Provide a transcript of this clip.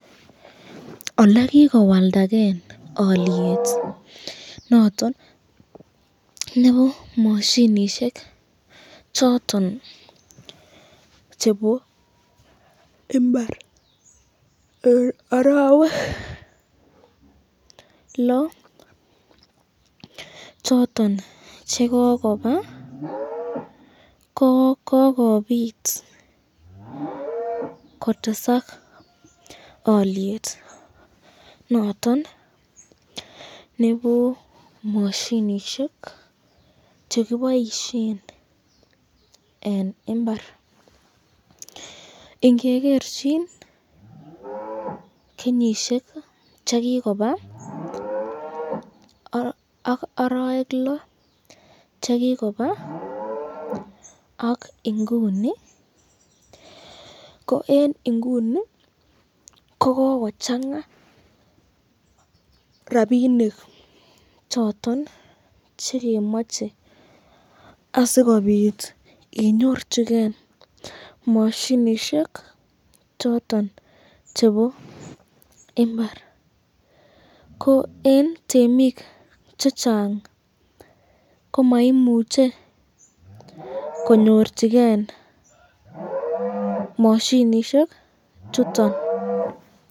olekikowaldaken olyet nondon nebo mashinishek choton chebo imbar eng arawek loo choton chekokoba ko kikobit kotesak alyet noton nebo mashinishek, chekeboisyen eng imbar, ingegerchin kenyishek